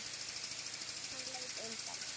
Hann leit undan.